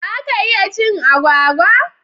Za ka iya cin agwagwa?